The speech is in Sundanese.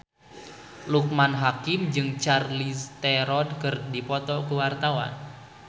Loekman Hakim jeung Charlize Theron keur dipoto ku wartawan